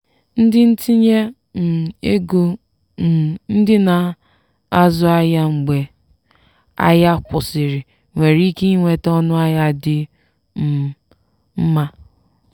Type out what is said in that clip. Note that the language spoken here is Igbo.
ndị ntinye um ego um ndị na-azụ ahịa mgbe ahịa kwụsịrị nwere ike nweta ọnụahịa dị um mma.